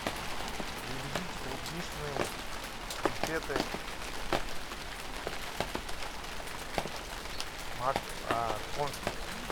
привезите клубничные конфеты конфи